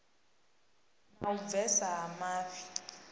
na u bvesa ha mafhi